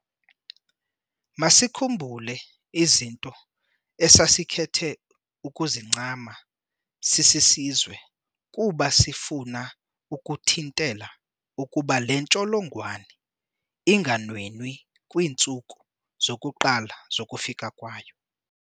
Masikhumbule izinto esa sikhethe ukuzincama sisi sizwe kuba sifuna ukuthintela ukuba le ntsholongwane inganwenwi kwiintsuku zokuqala zokufika kwayo.